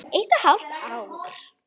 Eitt og hálft ár.